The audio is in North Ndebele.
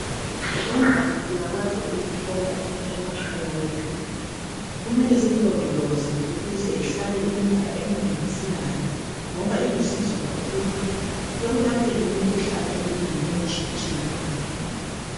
Imbali siyakwazi ukuyithola emakhaya ethu kumele siyilondoloze ukuze sihlale iminyaka eminengi silayo ngoba yelapha imikhuhlane etshiyatshiyeneyo.